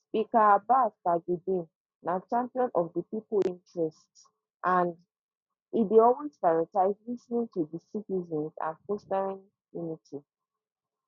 speaker abbas tajudeen na champion of di pipo interests and um e dey always prioritize lis ten ing to di citizens and fostering unity